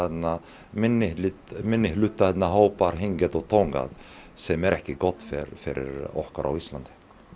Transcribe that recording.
minnihlutahópa minnihlutahópa hingað og þangað sem er ekki gott fyrir okkur á Íslandi